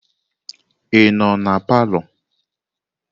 Ị nọ na palọ?